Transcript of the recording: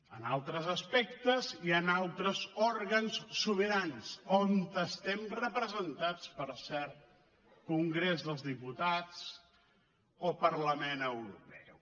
en altres aspectes hi han altres òrgans sobirans on estem representats per cert congrés dels diputats o parlament europeu